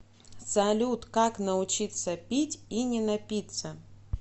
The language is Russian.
салют как научиться пить и не напиться